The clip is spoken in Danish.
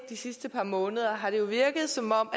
de sidste par måneder har det jo virket som om